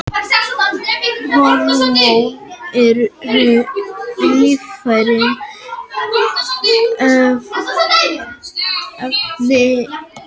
Hormón eru lífræn efni af ýmsum gerðum.